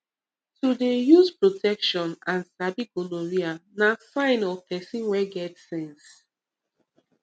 to dey use protection and sabi gonorrhea na sign of person wey get sense